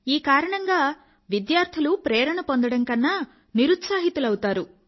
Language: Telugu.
ఈ కారణంగా విద్యార్థులు ప్రేరణ కన్నా నిరుత్సాహితులౌతారు